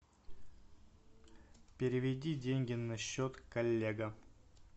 переведи деньги на счет коллега